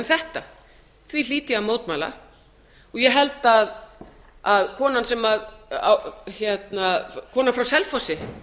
þetta því hlýt ég að mótmæla og ég held að konan frá selfossi